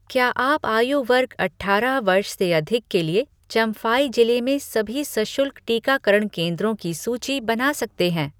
क्या आप आयु वर्ग अठारह वर्ष से अधिक के लिए चम्फाई जिले में सभी सशुल्क टीकाकरण केंद्रों की सूची बना सकते हैं?